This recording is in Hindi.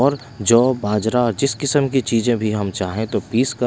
और जौ बाजरा जिस किस्म की चीजें भी हम चाहें तो पीसकर--